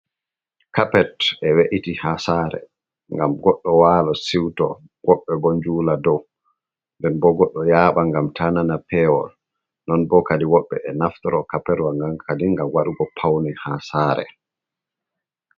Kapet e we'iti haa saare ngam goɗɗo waala siwto, woɓɓe bo njuula dow, nden bo goɗɗo yaaɓa ngam taa nana peewol. Non bo kadi woɓɓe e naftoro kapetwa ngan kadi ngam waɗugo pawne haa saare.